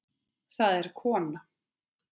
Það er kona.